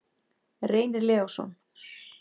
Reynir Leósson.